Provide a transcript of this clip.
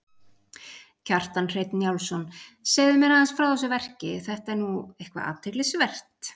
Kjartan Hreinn Njálsson: Segðu mér aðeins frá þessu verki, þetta er nú eitthvað athyglisvert?